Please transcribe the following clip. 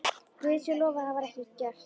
Guði sé lof að það var ekki gert.